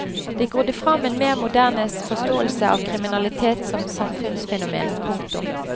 Det grodde fram en mer moderne forståelse av kriminalitet som samfunnsfenomen. punktum